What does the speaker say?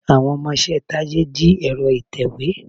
Àwọn ọmọṣẹ́ Tádé jí ẹ̀rọ ìtèwé.